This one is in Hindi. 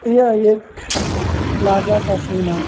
यह एक प्लाजा का सीन है।